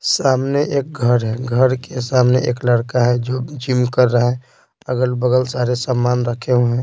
सामने एक घर है घर के सामने एक लड़का है जो जिम कर रहा है अगल-बगल सारे सामान रखे हुए हैं।